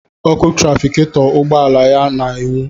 Ọkụ trafiketọ ugbọala ya na-enwu.